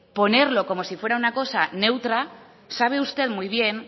ponerlo como si fuera una cosa neutra sabe usted muy bien